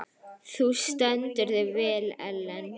Þú stendur þig vel, Ellen!